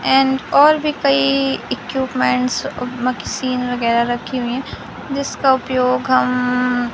and और भी कई इक्विपमेंट वगैरा रखी हुई है जिसका उपयोग हम--